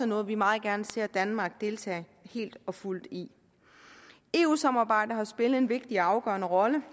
noget vi meget gerne ser danmark deltage helt og fuldt i eu samarbejdet har spillet en vigtig og afgørende rolle